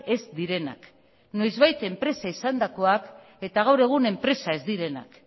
ez direnak noizbait enpresa izandakoak eta gaur egun enpresa ez direnak